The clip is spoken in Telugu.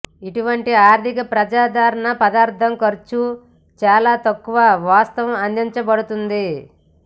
ఇటువంటి అధిక ప్రజాదరణ పదార్థం ఖర్చు చాలా తక్కువ వాస్తవం అందించబడుతుంది